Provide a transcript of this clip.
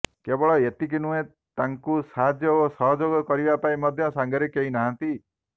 କେବଳ ଏତିକି ନୁହେଁ ତାଙ୍କୁ ସାହାଯ୍ୟ ଓ ସହଯୋଗ କରିବା ପାଇଁ ମଧ୍ୟ ସାଙ୍ଗରେ କେହି ନାହାନ୍ତି